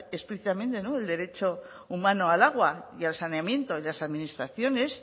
explícitamente el derecho humano al agua y al saneamiento y las administraciones